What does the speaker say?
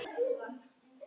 Nei svara þau bæði.